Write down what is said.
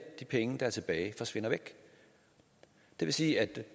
de penge der er tilbage forsvinder væk det vil sige at